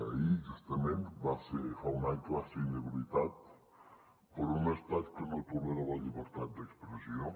ahir justament fa un any que va ser inhabilitat per un estat que no tolera la llibertat d’expressió